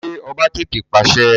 Ṣé ọba tètè pàṣẹ?